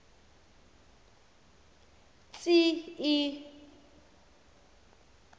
tsi i i